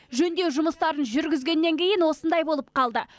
жөндеу жұмыстарын жүргізгеннен кейін осындай болып қалды